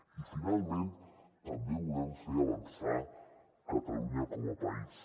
i finalment també volem fer avançar catalunya com a país